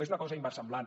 és una cosa inversemblant